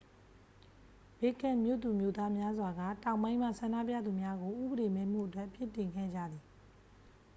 ဘစ်ရှ်ကက်မြို့သူမြို့သားများစွာက တောင်ပိုင်းမှ ဆန္ဒပြသူများကို ဥပဒေမဲ့မှုအတွက် အပြစ်တင်ခဲ့ကြသည်